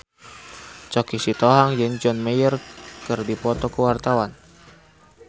Choky Sitohang jeung John Mayer keur dipoto ku wartawan